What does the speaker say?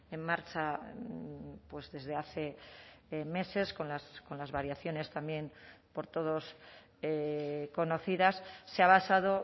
en marcha desde hace meses con las variaciones también por todos conocidas se ha basado